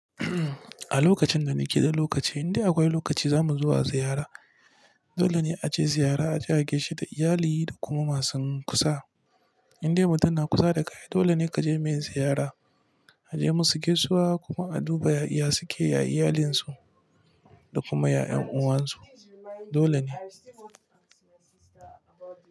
A lokacin da muke in lokaci, indai akwai lokaci za mu zuwa ziyara. Dole ne a je ziyara, a je a gaishe da iyali da kuma ma sun kusa. Indai mutum na kusa da ka aii dole ne ka je mai ziyara, a je musu gaisuwa kuma a duba ya suke, ya iyalinsu da kuma ya'yan' uwan su. Dole ne.